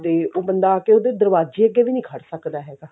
ਤੇ ਉਹ ਬੰਦਾ ਆ ਕਿ ਉਸਦੇ ਦਰਵਾਜੇ ਅੱਗੇ ਵੀ ਨੀ ਖੜ ਸਕਦਾ ਹੈਗਾ